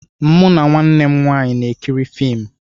Mụ na nwanne m nwanyị na-ekiri fiimu.